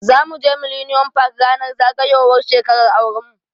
Zamu je millennium park ranar zagayowar shekarar auran mu.